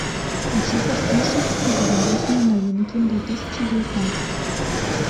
хочу послушать зарубежные новинки две тысячи девятнадцать